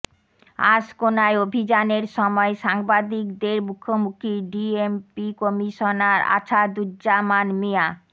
আশকোনায় অভিযানের সময় সাংবাদিকদের মুখোমুখি ডিএমপি কমিশনার আছাদুজ্জামান মিয়া